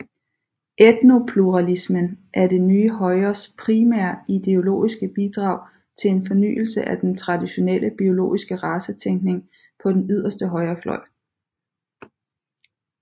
Etnopluralismen er det nye højres primære ideologiske bidrag til en fornyelse af den traditionelle biologiske racetænkning på den yderste højrefløj